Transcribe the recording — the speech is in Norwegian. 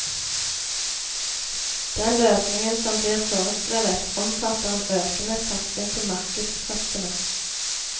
Den løsningen som blir foreskrevet, omfatter en økende satsing på markedskreftene.